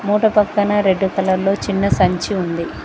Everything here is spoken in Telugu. మూట పక్కనే రెడ్ కలర్లో చిన్న సంచి ఉంది.